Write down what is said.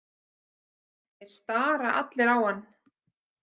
Þeir stara allir á hann.